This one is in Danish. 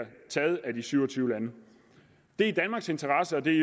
taget af de syv og tyve lande det er i danmarks interesse og det er i